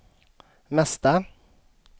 mesta